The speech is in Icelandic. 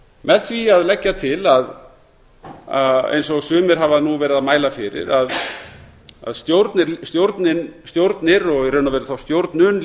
með því að leggja til eins og sumir hafa nú verið að mæla fyrir að stjórnir og í raun og veru þá stjórnun